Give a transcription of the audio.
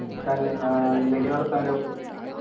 തന്നേയ് ആഹ് എന്തൊക്കെയാ വർത്താനം